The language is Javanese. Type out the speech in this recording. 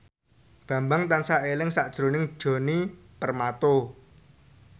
Bambang tansah eling sakjroning Djoni Permato